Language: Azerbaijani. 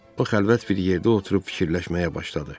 O, xəlvət bir yerdə oturub fikirləşməyə başladı.